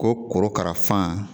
Ko korokara fan